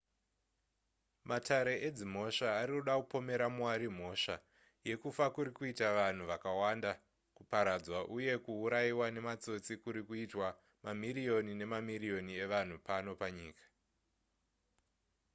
matare edzimhosva ari kuda kupomera mwari mhosva yekufa kuri kuita vanhu vakawanda kuparadzwa uye kuurayiwa nematsotsi kuri kuitwa mamiriyoni nemamiriyoni evanhu pano panyika